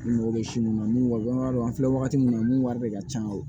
I mago bɛ si minnu na n'u b'a dɔn an filɛ wagati min na mun wari de ka ca